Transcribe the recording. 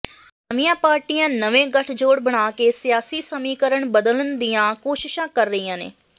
ਨਵੀਆਂ ਪਾਰਟੀਆਂ ਨਵੇਂ ਗਠਜੋੜ ਬਣਾ ਕੇ ਸਿਆਸੀ ਸਮੀਕਰਨ ਬਦਲਨ ਦੀਆਂ ਕੋਸ਼ਿਸ਼ਾਂ ਕਰ ਰਹੀਆਂ ਨੇ